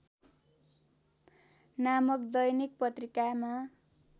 नामक दैनिक पत्रिकामा